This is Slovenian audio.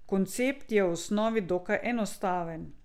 Koncept je v osnovi dokaj enostaven.